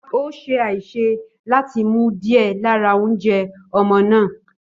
Ó ṣe àṣìṣe láti mu díẹ̀ lára oúnjẹ ọmọ náà.